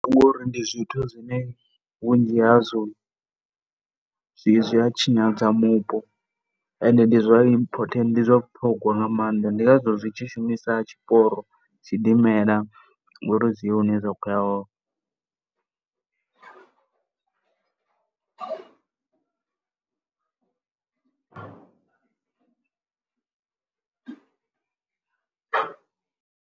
Ngori ndi zwithu zwine vhunzhi hazwo zwi, zwi a tshinyadza mupo and ndi zwa important, ndi zwa vhuṱhogwa nga maanḓa. Ndi ngazwo zwi tshi shumisa tshiporo tshidimela ngori zwi ye hune zwa khou ya hone.